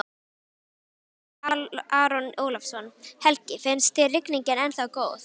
Hersir Aron Ólafsson: Helgi, finnst þér rigningin ennþá góð?